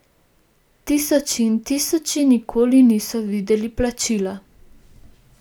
Tisoči in tisoči nikoli niso videli plačila.